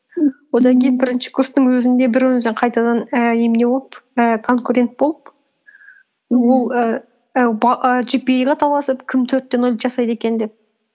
одан кейін бірінші курстың өзінде бір біріміздің қайтадан і немене болып і конкурент болып ол ііі і джипиэй ға таласып кім төрт те нөл жасайды екен деп